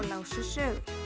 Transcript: lásu sögur